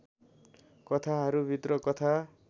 कथाहरूभित्र कथा